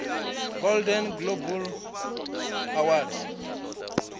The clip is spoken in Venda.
golden globe award